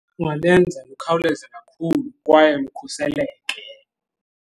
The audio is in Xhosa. Kungalenza lukhawuleze kakhulu kwaye lukhuseleke.